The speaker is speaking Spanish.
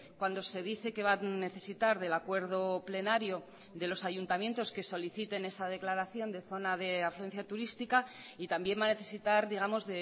cuando se dice que va a necesitar del acuerdo plenario de los ayuntamientos que soliciten esa declaración de zona de afluencia turística y también va a necesitar digamos